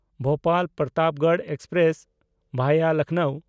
ᱵᱷᱳᱯᱟᱞ–ᱯᱨᱚᱛᱟᱯᱜᱚᱲ express (ᱵᱷᱟᱭᱟ Lucknow)